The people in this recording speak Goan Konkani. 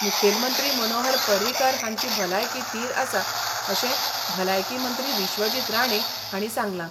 मुखेलमंत्री मनोहर पर्रीकार हांची भलायकी थीर आसा अशें भलायकी मंत्री विश्वजीत राणे हांणी सांगलां.